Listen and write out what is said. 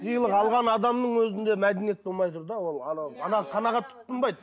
сыйлық алған адамның өзінде мәдениет болмай тұр да ол анау анаған қанағат тұтынбайды